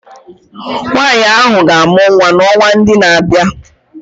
Nwanyị ahụ ga-amụ nwa n'ọnwa ndị na-abịa